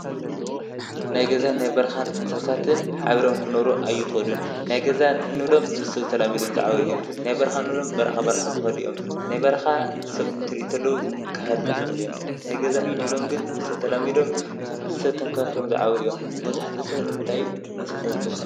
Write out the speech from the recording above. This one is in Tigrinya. ናይ ገዛ ናይ በርኻን እንሳሳትን ሓቢሮም ክነብሩ ኣይኽእሉን፡፡ ናይ ገዛ እንሎም ምስብተላሚዶም ዝዓበዩ እዮም፡፡ ናይ በርኻ እንብሎም በረኻ፣ ባርኻ ዝኸዱ እዮም፡፡ ናይ በርኻ ሰብ እንትሪኡ ተለው ክህድሙ ዝኽእሉ እዮም፡፡ ናይገዛ እንሎም ግን ምስ ስብ ተላሚዶም ብስብ ተንከባኺቦም ዝዓበዩ እዮም፡፡ መብዛሕቲኡ ሰብ ንምንታይ እንስሳት ዝጠቀም?